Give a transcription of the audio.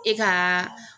E ka